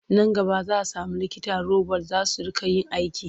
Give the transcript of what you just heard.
Nan gaba za sami likita robot za su riƙa yin aiki.